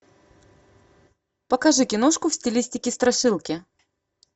покажи киношку в стилистике страшилки